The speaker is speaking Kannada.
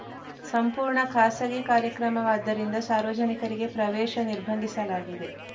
ಸಂಪೂರ್ಣ ಖಾಸಗಿ ಕಾರ್ಯಕ್ರಮವಾದ್ದರಿಂದ ಸಾರ್ವಜನಿಕರಿಗೆ ಪ್ರವೇಶ ನಿರ್ಬಂಧಿಸಲಾಗಿದೆ